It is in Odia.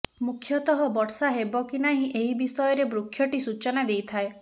ମୁଖ୍ୟତଃ ବର୍ଷା ହେବ କି ନାହିଁ ଏହି ବିଷୟରେ ବୃକ୍ଷଟି ସୂଚନା ଦେଇଥାଏ